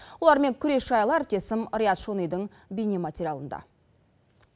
олармен күрес жайлы әріптесім риат шонидың бейнематериалында